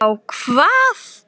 Þá hvað?